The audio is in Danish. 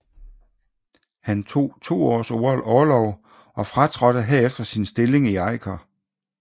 Han tog to års orlov og fratrådte derefter sin stilling i Eiker